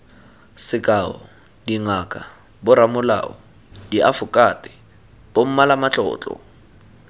sekao dingaka boramolao diafokate bommalamatlotlo